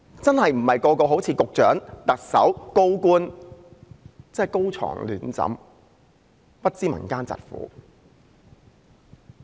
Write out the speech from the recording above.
不是每個人都好像局長、特首、高官般高床暖枕，不知民間疾苦。